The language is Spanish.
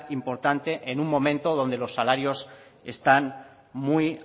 importante en un momento donde los salarios están muy